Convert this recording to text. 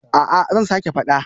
A'a zan sake fada